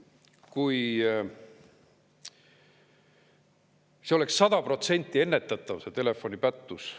Kui see oleks 100% ennetatav telefonipättus …